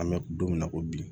An bɛ don min na ko bi